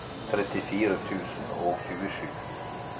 trettifire tusen og tjuesju